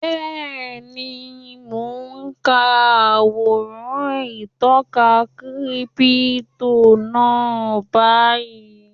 Bẹ́ẹ̀ni, mo n ka àwòrán ìtọka kírípítò náà báyìí